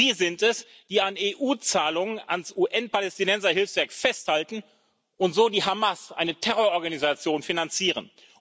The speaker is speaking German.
Sie sind es, die an EU Zahlungen an das UN Palästinenserhilfswerk festhalten und so die Hamas, eine Terror Organisation, finanzieren.